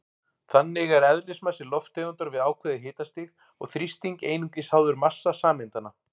Þannig er eðlismassi lofttegundar við ákveðið hitastig og þrýsting einungis háður massa sameindanna.